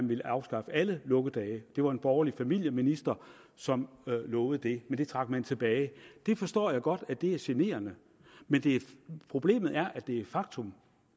ville afskaffe alle lukkedage det var en borgerlig familieminister som lovede det men det trak man tilbage det forstår jeg godt er generende men problemet er at det er et faktum